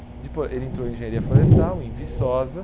depois ele entrou em engenharia florestal, em Viçosa.